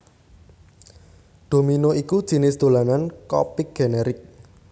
Domino iku jinis dolanan kopik generik